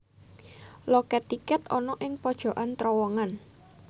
Lokèt tikèt ana ing pojokan trowongan